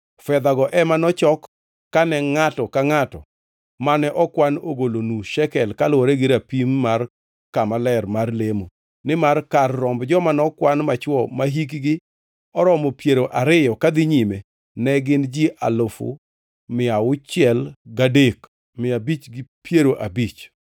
fedhago ema nochok kane ngʼato ka ngʼato mane okwan ogolo nus shekel kaluwore gi rapim mar kama ler mar lemo nimar kar romb joma nokwan machwo mahikgi oromo piero ariyo kadhi nyime ne gin ji alufu mia auchiel gadek mia abich gi piero abich (603,550).